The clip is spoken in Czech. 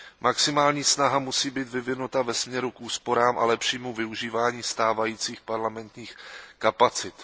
Maximální snaha musí být vyvinuta ve směru k úsporám a lepšímu využívání stávajících parlamentních kapacit.